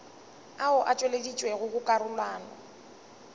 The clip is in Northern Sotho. ao a tšweleditšwego go karolwana